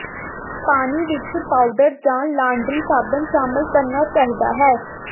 ਪਾਣੀ ਵਿੱਚ ਪਾਊਡਰ ਜਾਂ ਲਾਂਡਰੀ ਸਾਬਣ ਸ਼ਾਮਲ ਕਰਨਾ ਚਾਹੀਦਾ ਹੈ